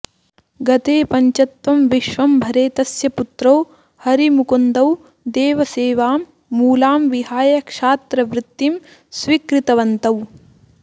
गते पञ्चत्वं विश्वंभरे तस्य पुत्रौ हरिमुकुन्दौ देवसेवां मूलां विहाय क्षात्रवृत्तिं स्वीकृतवन्तौ